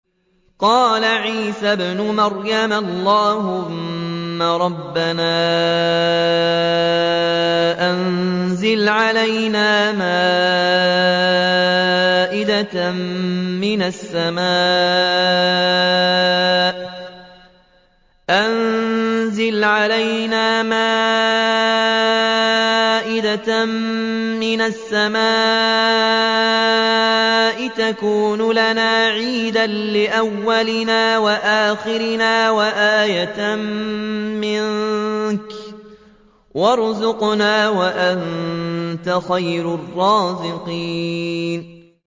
قَالَ عِيسَى ابْنُ مَرْيَمَ اللَّهُمَّ رَبَّنَا أَنزِلْ عَلَيْنَا مَائِدَةً مِّنَ السَّمَاءِ تَكُونُ لَنَا عِيدًا لِّأَوَّلِنَا وَآخِرِنَا وَآيَةً مِّنكَ ۖ وَارْزُقْنَا وَأَنتَ خَيْرُ الرَّازِقِينَ